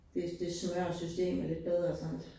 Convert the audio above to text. Hvis det snørrer systemet lidt bedre sådant